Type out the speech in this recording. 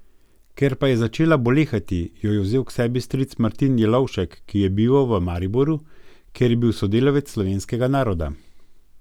Ker pa je začela bolehati, jo je vzel k sebi stric Martin Jelovšek, ki je bival v Mariboru, kjer je bil sodelavec Slovenskega Naroda.